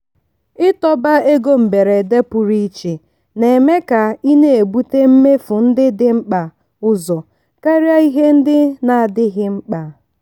ịtọba ego mberede pụrụ iche na-eme ka ị na-ebute mmefu ndị dị mkpa ụzọ karịa ihe ndị na-adịghị mkpa.